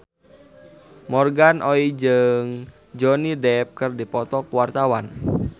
Morgan Oey jeung Johnny Depp keur dipoto ku wartawan